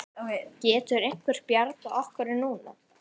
Getur einhver bjargað okkur núna?